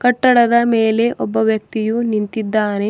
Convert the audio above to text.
ಕಟ್ಟಡದ ಮೇಲೆ ಒಬ್ಬ ವ್ಯಕ್ತಿಯು ನಿಂತಿದ್ದಾನೆ.